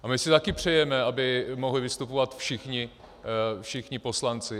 A my si taky přejeme, aby mohli vystupovat všichni poslanci.